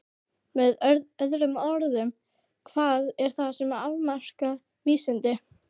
Með öðrum orðum: hvað er það sem afmarkar vísindi?